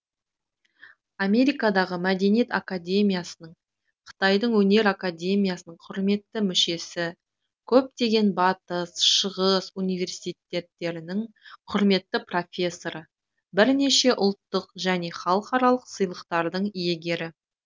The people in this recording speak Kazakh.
америкадағы мәдениет академиясының қытайдың өнер академиясының құрметті мүшесі көптеген батыс шығыс университеттерінің құрметті профессоры бірнеше ұлттық және халықаралық сыйлықтардың иегері